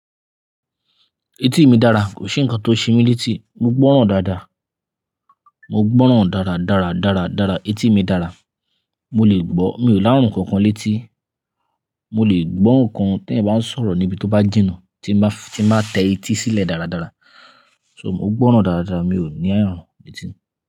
Etí mi dára, kò sí ǹkan tó ṣe mí létí, mo gbọ́ràn dáadáa. Mo gbọ́ràn dára, dára, dára, dára. Etí mi dára. Mo lè gbọ́, mi ò lárun kankan létí. Mo lè gbọ́ nǹkan tẹyan ń ba sọ̀rọ̀ níbi tó bá jìnà, tí ń bá, tí ń bá tẹ etí sílẹ̀ dáradára. So, mo gbọ́ràn dáadáa, mi ò ní àárun létí.